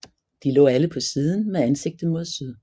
De lå alle på siden med ansigtet mod syd